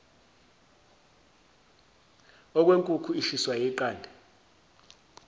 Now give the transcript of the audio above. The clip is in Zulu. okwenkukhu ishiswa yiqanda